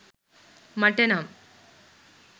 මට නම්.